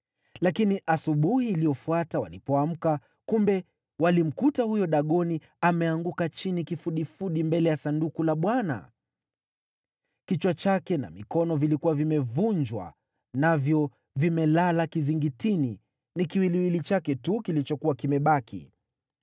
Lakini asubuhi iliyofuata, walipoamka kumbe, walimkuta huyo Dagoni ameanguka chini kifudifudi mbele ya Sanduku la Bwana ! Kichwa chake na mikono vilikuwa vimevunjwa navyo vimelala kizingitini, ni kiwiliwili chake tu kilichokuwa kimebaki.